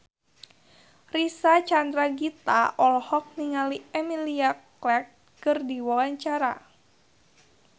Reysa Chandragitta olohok ningali Emilia Clarke keur diwawancara